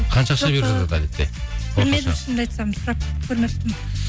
қанша ақша беріп жатады әдетте шынымды айтсам сұрап көрмеппін